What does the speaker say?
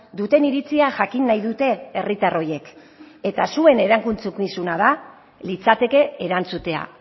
duten iritzia jakin nahi dute herritar horiek eta zuen erantzukizuna litzateke erantzutea